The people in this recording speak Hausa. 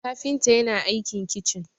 kafinta yana aikin kicin